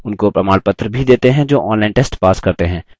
उनको प्रमाणपत्र भी देते हैं जो online test pass करते हैं